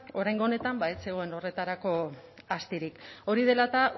oraingo honetan ba ez zegoen horretarako astirik hori dela eta